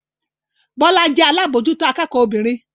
Bọ́lá jẹ́ alábòójútó akẹ́kọ̀ọ́ obìnrin